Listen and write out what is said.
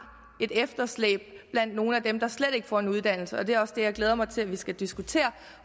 et efterslæb blandt nogle af dem der slet ikke får en uddannelse og det er også det jeg glæder mig til at vi skal diskutere